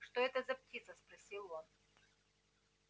что это за птица спросил он